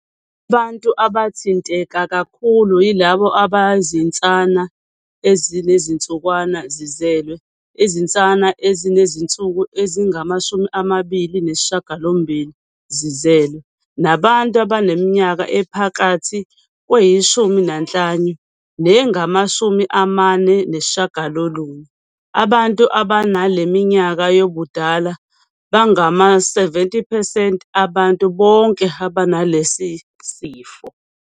Abantu abathinteka kakhulu yilabo abayizinsana ezinezinsukwana zizelwe - izinsana ezinezinsuku ezingama-28 zizelwe, nabantu abaneminyaka ephakathi kweyi-15 nengama-49. Abantu abanale minyaka yobudala bangama-70 percent abantu bonke abanalesi sifo.